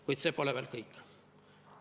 Kuid see pole veel kõik.